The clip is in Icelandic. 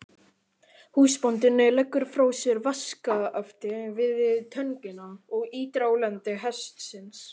Húsbóndinn leggur frá sér vaskafatið og töngina og ýtir á lend hestsins.